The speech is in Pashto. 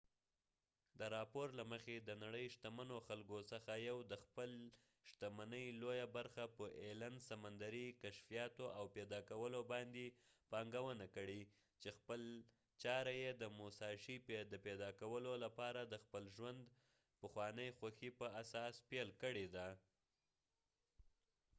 د راپور له مخی د نړی د شتمنو خلکو څخه یو ایلن allen د خپلی شتمنۍ لويه برخه په سمندرې کشفیاتو او پیدا کولو باندي پانګونه کړي چې خپل چاره یې د موساشي musashi د پیدا کولو لپاره د خپل ژوند د پخوانی خوښی په اساس پیل کړي ده